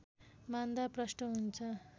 मान्दा प्रष्ट हुन्छ